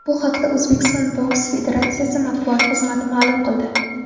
Bu haqda O‘zbekiston boks federatsiyasi matbuot xizmati ma’lum qildi.